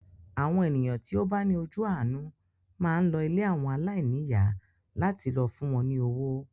Àwọn ènìyàn tí ó bá ní ojú àánú máa ń lọ ilé àwọn aláìníyà láti lọ fún wọn ní owó.